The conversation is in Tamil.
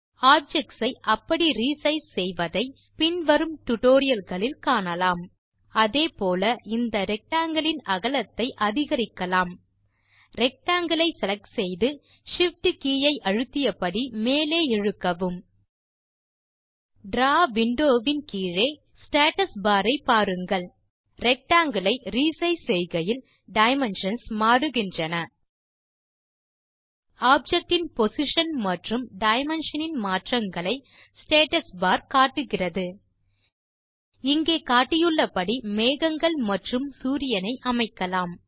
ஆப்ஜெக்ட்ஸ் ஐ அப்படி re சைஸ் செய்வதை பின் வரும் டியூட்டோரியல் களில் காணலாம் அதே போல இந்த ரெக்டாங்கில் இன் அகலத்தை அதிகரிக்கலாம் ரெக்டாங்கில் ஐ செலக்ட் செய்து Shift கே ஐ அழுத்தியபடி மேலே இழுக்கவும் டிராவ் விண்டோ வின் கீழே ஸ்டேட்டஸ் பார் ஐ பாருங்கள் ரெக்டாங்கில் ஐ re சைஸ் செய்கையில் டைமென்ஷன்ஸ் மாற்றுக ஆப்ஜெக்ட் இன் பொசிஷன் மற்றும் டைமென்ஷன் இன் மாற்றங்களை ஸ்டேட்டஸ் பார் காட்டுகிறது இங்கே காட்டியுள்ளபடி மேகங்கள் மற்றும் சூரியன் ஐ அமைக்கலாம்